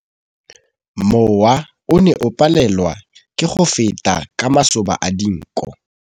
Mowa o ne o palelwa ke go feta ka masoba a dinko.